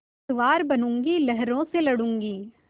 पतवार बनूँगी लहरों से लडूँगी